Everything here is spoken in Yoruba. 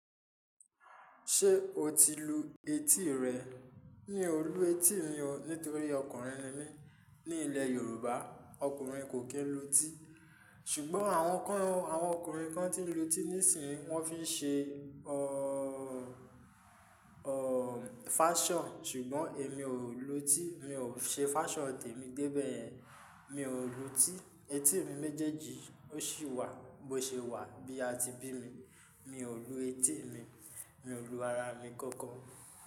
Ṣé o ti lu etí rẹ? Mi ò lu etí mi o nítorí ọkùnrin ni mí. Ní ilẹ̀ Yoruba, ọkùnrin kò kí ń lu etí. Ṣùgbọ́n àwọn ọkùnrin kan ti lu etí níìsín, wọ́n fi í ṣe, ọ, ọ fashion, ṣùgbọ́n èmi ò lu etí. Mi ò ṣe fashion tèmi débẹ yẹn. Mi ò lu etí. Etí mi méjèèjì ó ṣì wà bó ṣe wà bí a ti bí mi. Mi ò lu etí mi. Mi ò lu ara mi kankan.